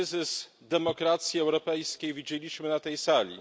Kryzys demokracji europejskiej widzieliśmy na tej sali.